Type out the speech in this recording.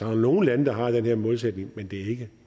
er nogle lande der har den her målsætning men det er ikke